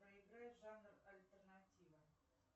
проиграй жанр альтернатива